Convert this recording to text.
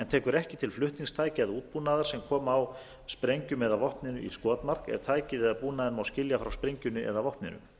tekur ekki til flutningstækja eða útbúnaðar sem koma á sprengjum eða vopnum í skotmark ef tækið eða búnaðinn má skilja frá sprengjunni eða vopninu